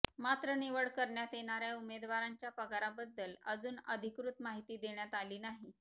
मात्र निवड करण्यात येणाऱ्या उमेदवारांच्या पगाराबद्दल अजून अधिकृत माहिती देण्यात आली नाही